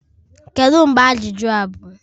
Kedu mgbe ajụjụ a bụ?